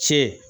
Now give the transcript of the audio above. Ce